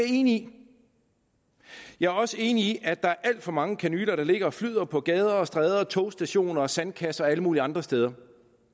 enig i jeg er også enig i at der er alt for mange kanyler der ligger og flyder på gader og stræder på togstationer i sandkasser og alle mulige andre steder